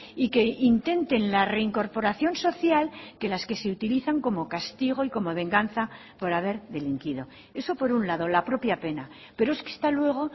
y que intenten la reincorporación social que las que se utilizan como castigo y como venganza por haber delinquido eso por un lado la propia pena pero es que está luego